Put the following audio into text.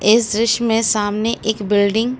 इस दृश्य में सामने एक बिल्डिंग --